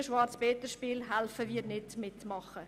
Dieses traurige Spiel spielen wir nicht mit.